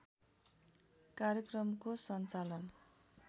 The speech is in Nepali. कार्यक्रमको सञ्चालन